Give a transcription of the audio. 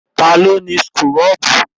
Ta ló ni súkúrọ́bù?